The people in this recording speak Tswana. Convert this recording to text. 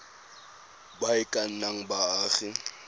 ba e ka nnang baagi